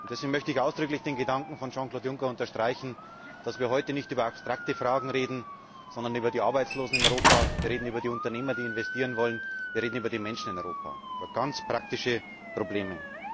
Deswegen möchte ich ausdrücklich den Gedanken von Jean Claude Juncker unterstreichen, dass wir heute nicht über abstrakte Fragen reden, sondern über die Arbeitslosen in Europa, wir reden über die Unternehmer, die investieren wollen, wir reden über die Menschen in Europa über ganz praktische Probleme.